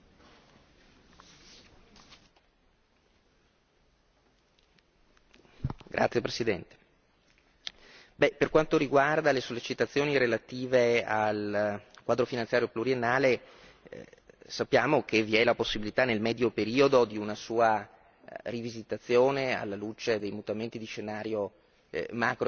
Signora Presidente, onorevoli deputati, per quanto riguarda le sollecitazioni relative al quadro finanziario pluriennale, sappiamo che vi è la possibilità nel medio periodo di una sua rivisitazione alla luce dei mutamenti di scenario macroeconomico. Chiaramente non è questa la specifica sede nella quale noi possiamo